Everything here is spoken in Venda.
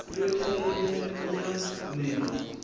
yothe ye ye ya newa